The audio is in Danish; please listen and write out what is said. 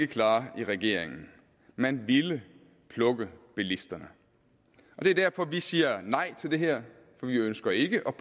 klare i regeringen man ville plukke bilisterne og det er derfor vi siger nej til det her for vi ønsker ikke at